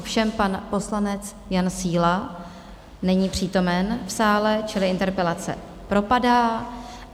Ovšem pan poslanec Jan Síla není přítomen v sále, čili interpelace propadá.